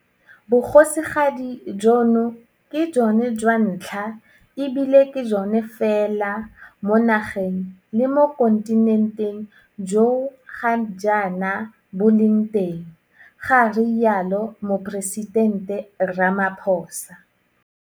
Bogosigadi jono ke jone jwa ntlha e bile ke jone fela mo nageng le mo kontinenteng jo ga jaana bo leng teng, ga rialo Moporesitente Ramaphosa.